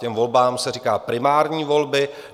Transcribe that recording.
Těm volbám se říká primární volby.